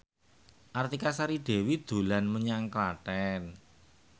Artika Sari Devi dolan menyang Klaten